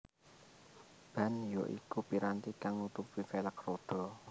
Ban ya iku piranti kang nutupi velg rodha